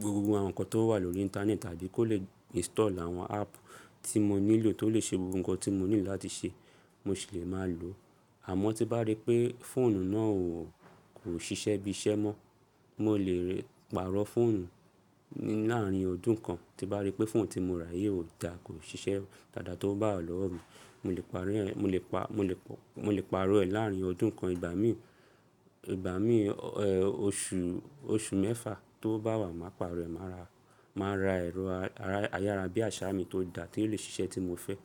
gbogbo àwọn nǹkan tó wà lórí íńtánẹ́ẹ̀tì àti kó le install àwọn app tí mo nílò, tó lè ṣe gbogbo nǹkan tí mo ní láti ṣe, mo sì lè máa lòó. Àmọ́ tí bá rí pé fóònù náà ò kò ṣiṣẹ́ bí iṣẹ́ mọ́, mo lè pàrọ̀ fóònù ní làárín ọdún kan. Ti bá rí pé fóònù tí mo rà yìí ò dà, kò ṣiṣẹ́ dáadáa tówo bá wà lọ́wọ́ mi, mo lè pàrọ̀ ẹ́, mo lè pa, mo lè, mo lè pàrọ̀ ẹ̀ làárín ọdún kan. Ìgbà mí, ìgbà mí òṣù, oṣù mẹ́fà tówo bá wà, màá pàrọ̀ ẹ̀. Màá ra, màá ra ẹ̀rọ ayárabíàṣá mii tó dà tí ó lè ṣiṣẹ́ tí mo fẹ́